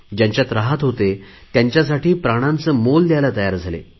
ज्यांच्यात रहात होते त्यांच्यासाठी प्राणांचे मोल द्यायला तयार झाले